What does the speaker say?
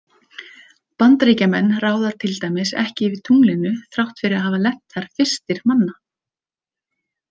Bandaríkjamenn ráða til dæmis ekki yfir tunglinu þrátt fyrir að hafa lent þar fyrstir manna.